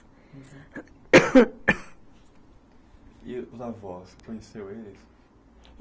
(barulho de tosse) E os avós, você conheceu eles?